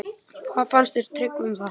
Hvað fannst Tryggva um það?